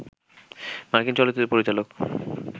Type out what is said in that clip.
মার্কিন চলচ্চিত্র পরিচালক